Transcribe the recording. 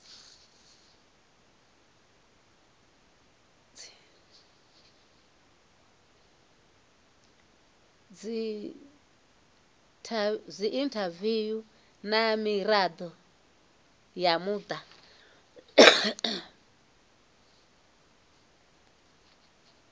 dziinthaviwu na mirado ya muta